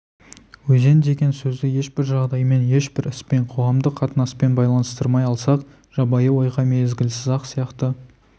өзен деген сөзді ешбір жағдаймен ешбір іспен қоғамдық қатынаспен байланыстырмай алсақ жабайы ойға мезгілсіз-ақ сияқты